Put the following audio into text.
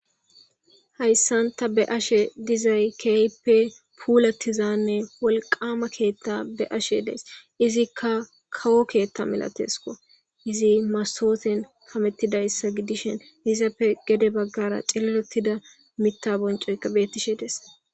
Haysan ta be'ashe dizay keehippe pulatizanne wolqama keta be'ashe days izka kawo keta masatesko , Mastoten kametidaysa gidishn gede bagara cililotida MIta boncoyka betishe de'es.